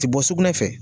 Ti bɔ sugunɛ fɛ